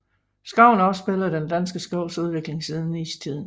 Skoven afspejler den danske skovs udvikling siden istiden